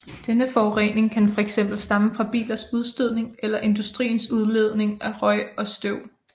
Denne forurening kan fx stamme fra bilers udstødning eller industriens udledning af røg og støv